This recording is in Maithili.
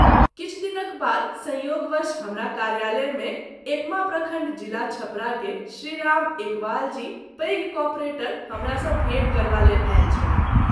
किछु दिनक बाद संयोगवश हमरा कार्यालय मे एकमा प्रखण्ड जिला- छपरा के श्री राम एकवाल जी पैघ कॉपरेटर हमरा सँ भेट करबा लेल आयल छलाह।